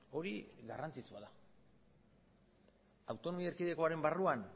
hori garrantzitsua da autonomia erkidegoaren barruan